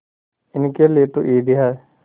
इनके लिए तो ईद है